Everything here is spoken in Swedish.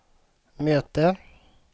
möte